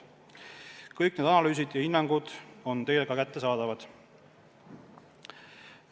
Kõik need analüüsid ja hinnangud on teile ka kättesaadavad.